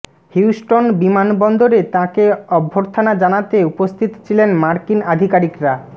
Houston বিমানবন্দরে তাঁকে অভ্যর্থনা জানাতে উপস্থিত ছিলেন মার্কিন আধিকারিকরা